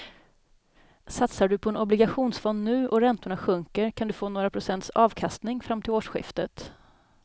Satsar du på en obligationsfond nu och räntorna sjunker kan du få några procents avkastning fram till årsskiftet.